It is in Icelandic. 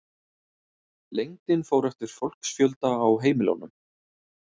Lengdin fór eftir fólksfjölda á heimilunum.